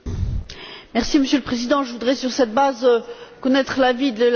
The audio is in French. Monsieur le Président, je voudrais sur cette base connaître l'avis de la Commission.